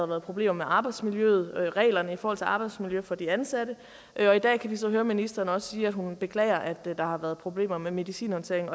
været problemer med arbejdsmiljøet reglerne i forhold til arbejdsmiljø for de ansatte og i dag kan vi så høre ministeren sige at hun beklager at der har været problemer med medicinhåndteringen